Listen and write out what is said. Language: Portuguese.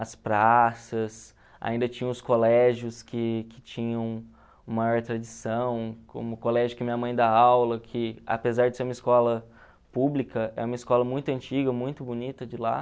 as praças, ainda tinham os colégios que que tinham maior tradição, como o colégio que minha mãe dá aula, que apesar de ser uma escola pública, é uma escola muito antiga, muito bonita de lá.